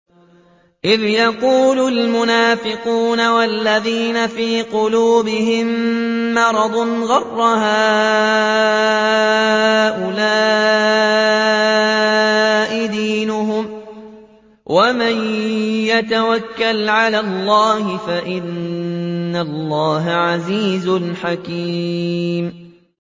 إِذْ يَقُولُ الْمُنَافِقُونَ وَالَّذِينَ فِي قُلُوبِهِم مَّرَضٌ غَرَّ هَٰؤُلَاءِ دِينُهُمْ ۗ وَمَن يَتَوَكَّلْ عَلَى اللَّهِ فَإِنَّ اللَّهَ عَزِيزٌ حَكِيمٌ